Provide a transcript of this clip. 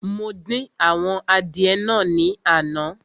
Mo dín àwọn adìẹ naa ní àná